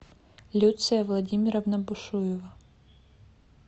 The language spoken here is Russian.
люция владимировна бушуева